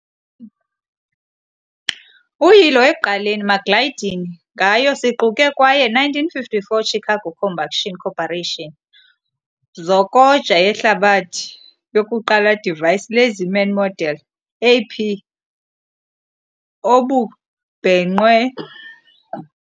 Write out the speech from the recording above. Uyilo ekuqaleni McGlaughlin ngayo siquke kwaye 1954 "Chicago Combustion Corporation" zokoja yehlabathi yokuqala device, "LazyMan Model AP" obubhenqwe.